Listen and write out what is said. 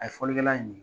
A ye fɔlikɛla ye